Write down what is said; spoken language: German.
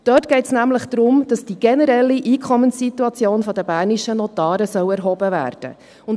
Dort geht es nämlich darum, dass die generelle Einkommenssituation der bernischen Notare erhoben werden soll.